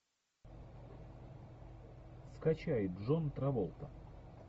скачай джон траволта